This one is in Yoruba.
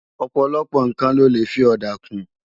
Òpòlòpò nkán lò lé fi òdá kún